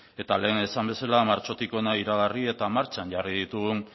eta lehen esan bezala martxotik hona iragarri eta martxan jarri ditugun